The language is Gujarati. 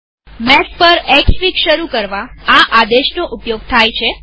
મેક પર એક્સફીગ શરૂ કરવા આ આદેશનો ઉપયોગ થાય છે